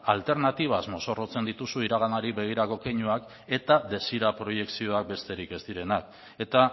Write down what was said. alternatibaz mozorrotzen dituzu iraganari begirako keinuak eta desira proiekzioak besterik ez direnak eta